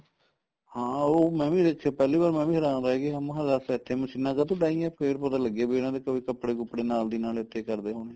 ਹਾਂ ਉਹ ਮੈਂ ਵੀ ਇਸ ਚ ਪਹਿਲੀ ਵਾਰ ਮੈਂ ਵੀ ਹੇਰਾਨ ਰਿਹ ਗਿਆ ਮੈਂ ਕੇ ਦਸ ਇੱਥੇ ਮਸ਼ੀਨਾ ਕਾਤੋ ਡਾਈਏ ਫੇਰ ਪਤਾ ਲੱਗਿਆ ਕੀ ਇਹਨਾ ਦੇ ਕੋਈ ਕਪੜੇ ਕੁਪੜੇ ਨਾਲ ਦੀ ਨਾਲ ਇੱਥੇ ਹੀ ਕਰਦੇ ਹੋਣੇ